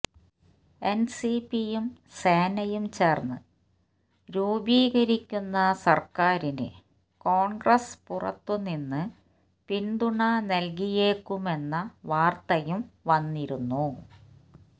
എന്സിപിയും സേനയും ചേര്ന്ന് രൂപീകരിക്കുന്ന സര്ക്കാരിന് കോണ്ഗ്രസ് പുറത്തുനിന്ന് പിന്തുണ നല്കിയേക്കുമെന്ന വാര്ത്തയും വന്നിരുന്നു